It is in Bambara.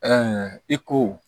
i ko